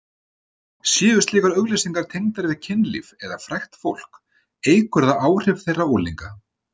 Séu slíkar auglýsingar tengdar við kynlíf eða frægt fólk eykur það áhrif þeirra á unglinga.